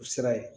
U sira ye